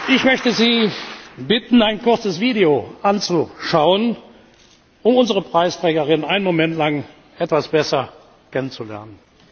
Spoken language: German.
Ich möchte Sie bitten, ein kurzes Video anzuschauen, um unsere Preisträgerin einen Moment lang etwas besser kennen zu lernen.